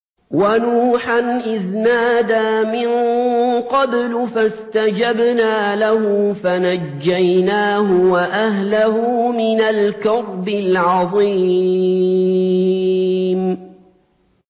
وَنُوحًا إِذْ نَادَىٰ مِن قَبْلُ فَاسْتَجَبْنَا لَهُ فَنَجَّيْنَاهُ وَأَهْلَهُ مِنَ الْكَرْبِ الْعَظِيمِ